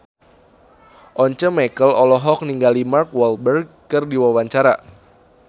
Once Mekel olohok ningali Mark Walberg keur diwawancara